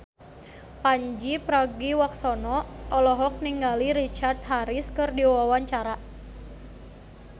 Pandji Pragiwaksono olohok ningali Richard Harris keur diwawancara